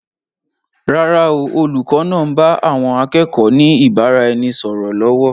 Rárá o, olùkọ́ náà ń bá àwọn akẹ́kọ̀ọ́ ni ìbáraẹnisọọ̀rọ̀ lọ́wọ́.